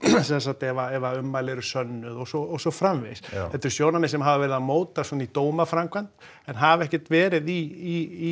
sem sagt ef ummæli eru sönnuð og svo og svo framvegis þetta eru sjónarmið sem hafa verið að mótast svona í dómaframkvæmd en hafa ekkert verið í